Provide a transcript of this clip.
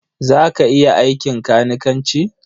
Za ka iya aikin kanikanci?